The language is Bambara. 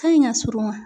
Ka ɲi ka surun wa